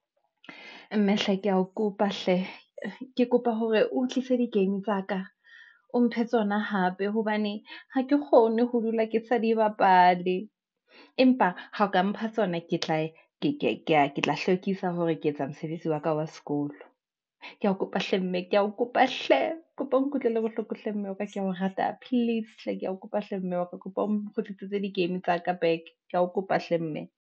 Mme hle ke ya o kopa hle, ke kopa hore o tlise di game tsa ka, o mphe tsona hape hobane ha ke kgone ho dula ke sa di bapale, empa ha o ka mpha tsona, ke tla hlwekisa hore ke etsa mosebetsi wa ka wa sekolo. Ke ya kopa hle mme, ke ya o kopa hle, kopa o nkutlwele bohloko hle mme wa ka, ke ya o rata please hle, ke ya o kopa hle mme wa ka, kopa o kgutlise di game tsa ka back, ke ya o kopa hle mme.